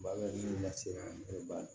Bagaji lase an bɛɛ b'a